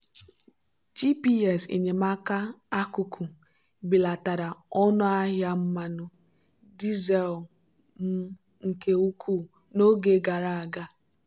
gps enyemaka akuku belatara ọnụ ahịa mmanụ dizel m nke ukwuu n'oge gara aga.